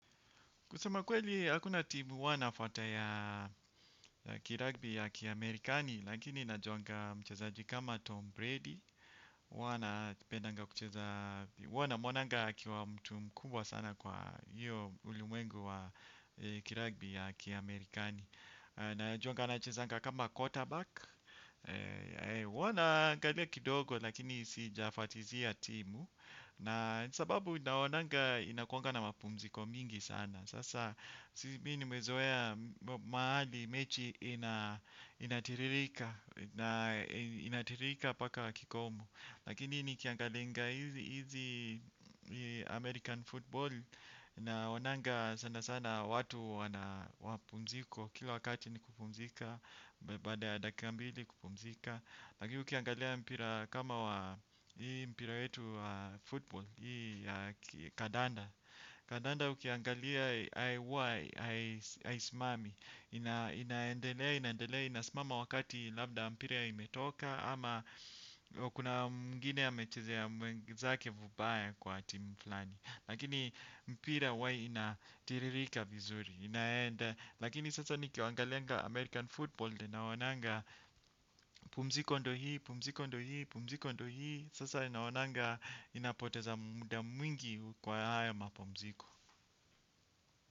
Kusema kweli, hakuna timu huwa nafuata ya kiragbi ya kiamerikani, lakini najuanga mchezaji kama Tom Brady, huwa na mwonanga akiwa mtu mkubwa sana kwa hiyo ulimwengu wa kiragbi ya kiamerikani. Najuanga anachezanga kama quarterback huwa naangalia kidogo lakini sijafatizia timu. Na sababu naonanga inakuanga na mapumziko mingi sana. Sasa si mi nimezoea mahali mechi inatiririka. Inatiririka mpaka kikomo. Lakini nikiangalinga hizi American football naonanga sana sana watu wana mapumziko kila wakati ni kupumzika. Baada ya dakika mbili kupumzika lakini ukiangalia mpira kama wa hii mpira wetu wa football. Hii kadanda. Kadanda ukiangalia huwa haisimami. Inaendelea inaendelea ina simama wakati labda mpira imetoka. Ama kuna mwingine amechezea mwenzake vibaya kwa timu flani. Lakini mpira huwa inatiririka vizuri. Inaenda. Lakini sasa nikiangalianga American Football ninaonanga pumziko ndo hii, pumziko ndo hii, pumziko ndo hii. Sasa ninaonanga ninapoteza muda mwingi kwa haya mapumziko.